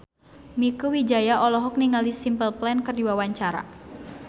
Mieke Wijaya olohok ningali Simple Plan keur diwawancara